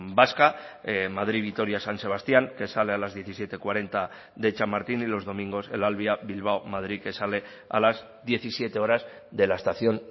vasca madrid vitoria san sebastián que sale a las diecisiete cuarenta de chamartín y los domingos el alvia bilbao madrid que sale a las diecisiete horas de la estación